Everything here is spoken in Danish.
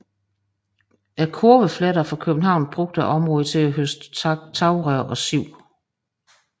Kurveflettere fra København brugte området til at høste tagrør og siv